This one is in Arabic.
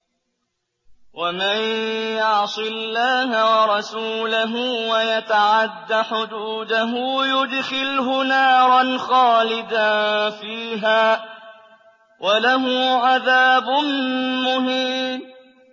وَمَن يَعْصِ اللَّهَ وَرَسُولَهُ وَيَتَعَدَّ حُدُودَهُ يُدْخِلْهُ نَارًا خَالِدًا فِيهَا وَلَهُ عَذَابٌ مُّهِينٌ